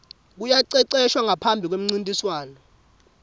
kuyaceceshwa ngaphambi kwemuncintiswano